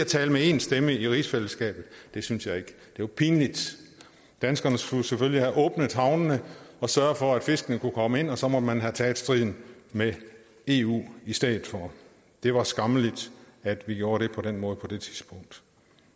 tale med én stemme i rigsfællesskabet det synes jeg ikke det var pinligt danskerne skulle selvfølgelig have åbnet havnene og sørget for at fiskene kunne komme ind og så måtte man have taget striden med eu i stedet for det var skammeligt at vi gjorde det på den måde på det tidspunkt